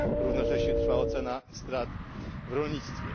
Równocześnie trwa ocena strat w rolnictwie.